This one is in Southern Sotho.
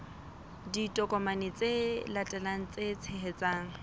ditokomane tse latelang tse tshehetsang